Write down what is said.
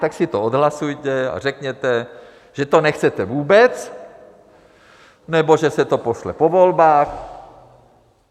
Tak si to odhlasujte a řekněte, že to nechcete vůbec nebo že se to pošle po volbách.